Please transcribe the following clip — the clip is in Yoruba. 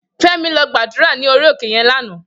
Femi lò gbàdúrá ni óri óké yèn làná